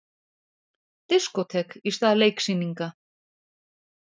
Diskótek í stað leiksýninga